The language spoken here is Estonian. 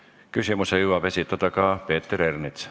Küsimuse jõuab esitada ka Peeter Ernits.